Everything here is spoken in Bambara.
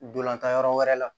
Dolantan yɔrɔ wɛrɛ la